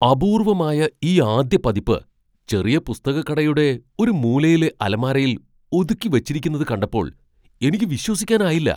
അപൂർവമായ ഈ ആദ്യ പതിപ്പ് ചെറിയ പുസ്തകക്കടയുടെ ഒരു മൂലയിലെ അലമാരയിൽ ഒതുക്കി വച്ചിരിക്കുന്നത് കണ്ടപ്പോൾ എനിക്ക് വിശ്വസിക്കാനായില്ല.